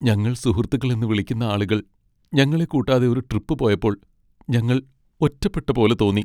ഞങ്ങൾ സുഹൃത്തുക്കളെന്ന് വിളിക്കുന്ന ആളുകൾ ഞങ്ങളെ കൂട്ടാതെ ഒരു ട്രിപ്പ് പോയപ്പോൾ ഞങ്ങൾ ഒറ്റപ്പെട്ട പോലെ തോന്നി .